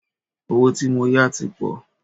Owó tí mó yá tí pọ̀.